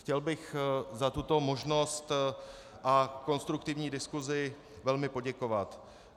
Chtěl bych za tuto možnost a konstruktivní diskusi velmi poděkovat.